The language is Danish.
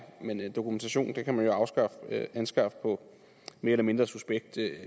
men dokumentation kan man jo anskaffe på mere eller mindre suspekt